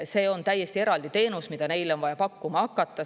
See on täiesti eraldi teenus, mida neile on vaja pakkuma hakata.